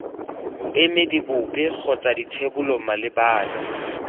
boemedi bope kgotsa dithebolo malebana